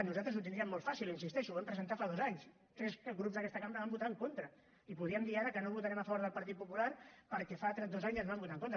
nosaltres ho tindríem molt fàcil hi insisteixo ho vam presentar fa dos anys tres grups d’aquesta cambra hi van votar en contra i podríem dir ara que no votarem a favor del partit popular perquè fa dos anys ens van votar en contra